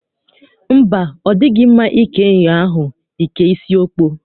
Mba, ọ dịghị mma ike nyụọ ahụ, e kee isi ọkpọ.